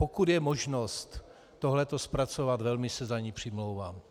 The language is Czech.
Pokud je možnost toto zpracovat, velmi se za to přimlouvám.